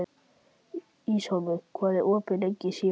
Ísólfur, hvað er opið lengi í Símanum?